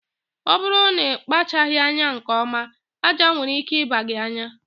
Ọ bụrụ na ịkpachaghị anya nke ọma, aja nwere ike ịba gị anya